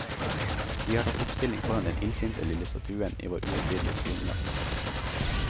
Vi har tatt oppstilling foran den illsinte lille statuen i vår uhøytidelige spionjakt.